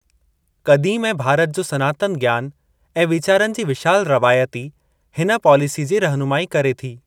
क़दीम ऐं भारत जो सनातन ज्ञान ऐं वीचारनि जी विशाल रवायत ई हिन पॉलिसीअ जी रहनुमाई करे थी।